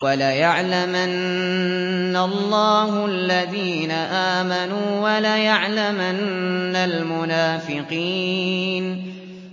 وَلَيَعْلَمَنَّ اللَّهُ الَّذِينَ آمَنُوا وَلَيَعْلَمَنَّ الْمُنَافِقِينَ